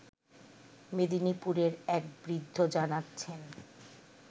মেদিনীপুরের এক বৃদ্ধ জানাচ্ছেন